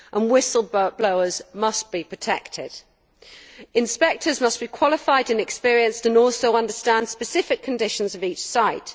Whistle blowers must be protected. Inspectors must be qualified and experienced and also understand the specific conditions of each site.